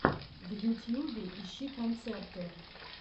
в ютьюбе ищи концерты